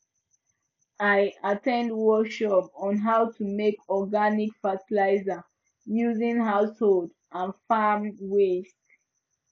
i at ten d workshop on how to make organic fertiliser using household and farm waste